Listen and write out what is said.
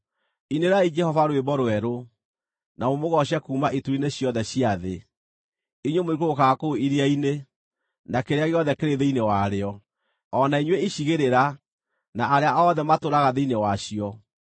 Inĩrai Jehova rwĩmbo rwerũ, na mũmũgooce kuuma ituri-inĩ ciothe cia thĩ, inyuĩ mũikũrũkaga kũu iria-inĩ, na kĩrĩa gĩothe kĩrĩ thĩinĩ warĩo, o na inyuĩ icigĩrĩra, na arĩa othe matũũraga thĩinĩ wacio.